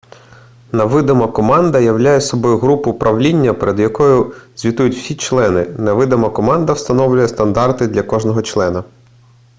невидима команда являє собою групу управління перед якою звітують всі члени невидима команда встановлює стандарти для кожного члена